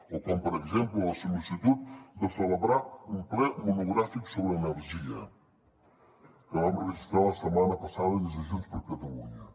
o com per exemple la sol·licitud de celebrar un ple monogràfic sobre energia que vam registrar la setmana passada des de junts per catalunya